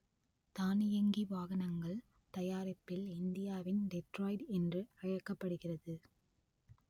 தானியங்கி வாகனங்கள் தயாரிப்பில் இந்தியாவின் டெட்ராய்டு என்று அழைக்கப்படுகிறது